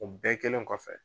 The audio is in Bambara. O bɛɛ kɛlen kɔfɛ.